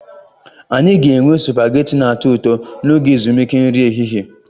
Anyị ga-enwe supagetii na-atọ ụtọ n'oge ezumike nri ehihie